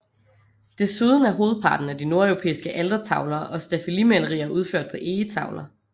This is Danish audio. Desuden er hovedparten af de nordeuropæiske altertavler og staffelimalerier udført på egetavler